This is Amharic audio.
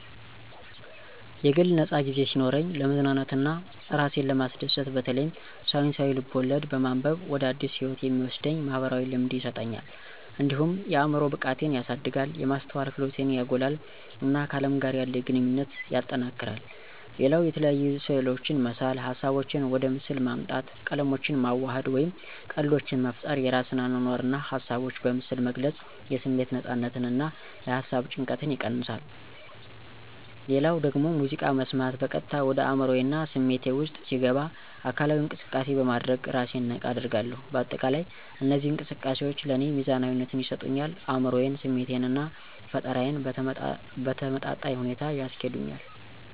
የግል ነፃ ጊዜ ሲኖረኝ፣ ለመዝናናት እና እራሴን ለማስደሰት በተለይም ሳይንሳዊ ልብ-ወለድ በማንበብ ወደ አዲስ ህይወት የሚወስደኝ "ማኅበራዊ ልምድ" ይሰጠኛል። እንዲሁም የአዕምሮ ብቃቴን ያሳድጋል፣ የማስተዋል ክህሎቴን ያጎላል፣ እና ከአለም ጋር ያለኝ ግንኙነት ያጠናክራል። ሌላው የተለያዩ ስዕሎችን መሳል ሀሳቦቼን ወደ ምስል ማምጣት፣ ቀለሞችን ማዋሃድ፣ ወይም ቀልዶችን መፍጠር የራሴን አኗኗር እና ሀሳቦች በምስል መግለጽ የስሜት ነፃነትን እና የሃሳብ ጭንቀትን ይቀንሳ። ሌላው ደግሞ ሙዚቃ መስማት በቀጥታ ወደ አዕምሮዬ እና ስሜቴ ውስጥ ሲገባ አካላዊ እንቅሰቃሴ በማድረግ እራሴን ነቃ አደርጋለሁ። በአጠቃላይ እነዚህ እንቅስቃሴዎች ለእኔ ሚዛናዊነትን ይሰጡኛል አዕምሮዬን፣ ስሜቴን እና ፈጠራዬን በተመጣጣኝ ሁኔታ ያስኬዱልኛል።